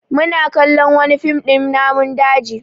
Mu na kallon wani fim din namun daji